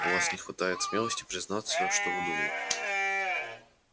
у вас не хватает смелости признаться что вы думаете